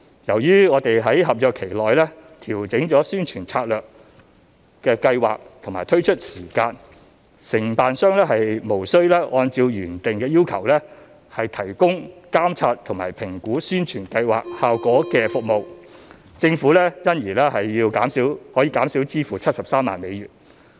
由於我們在合約期內調整了宣傳策略和計劃的推出時間，承辦商無需按照原定的要求提供監察和評估宣傳計劃效果的服務，政府因而可以減少支付73萬美元。